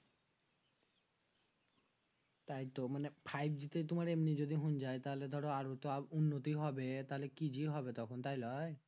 তাই তো মানে five g তে তোমার যদি এমনি যদি হুন যাই তাহলে তো আরো উন্নতি হবেই তাহলে কি যে হবে তাইলওই